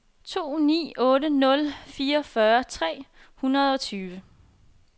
to ni otte nul fireogfyrre tre hundrede og tyve